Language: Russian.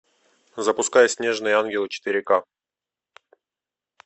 запускай снежные ангелы четыре ка